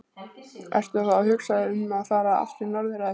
Ertu þá að hugsa um að fara aftur norður eða hvað?